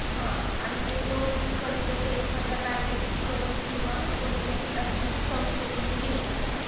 हा आणि हे loan कर्ज ते एखाद्या bank कडून किंवा कोणत्याही आर्थिक संस्थेकडून घेत असतात